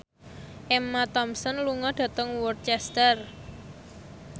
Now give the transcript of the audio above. Emma Thompson lunga dhateng Worcester